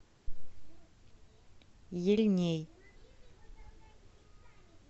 ельней